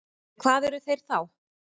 En hvað eru þeir þá?